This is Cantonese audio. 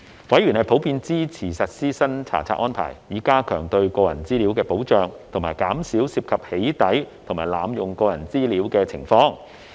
委員普遍支持實施新查冊安排，以加強對個人資料的保障及減少涉及"起底"及濫用個人資料的情況。